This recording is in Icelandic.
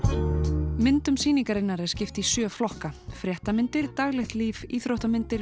myndum sýningarinnar er skipt í sjö flokka fréttamyndir daglegt líf íþróttamyndir